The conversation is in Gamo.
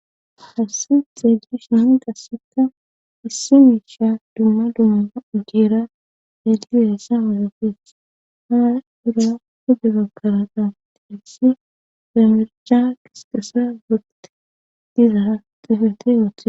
hassi xeegish nahi qasseka issi miisha dumma dummaa ugeera dedibehessa hooxafes hana irra kude bakaraqa tehessi bemerca qisqassa goqte dizara xifete wote